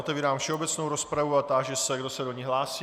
Otevírám všeobecnou rozpravu a táži se, kdo se do ní hlásí.